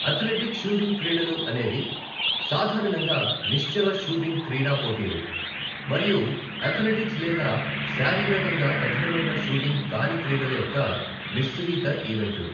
Athletic shooting క్రీడలు అనేవి, సాధారణంగా నిశ్చల షూటింగ్ క్రీడా పోటీలు, మరియు అథ్లెటిక్స్ లేదా శారీరకంగా కఠినమైన షూటింగ్ కాని క్రీడల యొక్క మిశ్రీత ఈవెంట్లు.